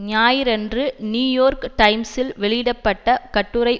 ஞாயிறன்று New York டைம்ஸில் வெளியிட பட்ட கட்டுரை